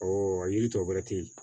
a yiri tɔ bɛ ten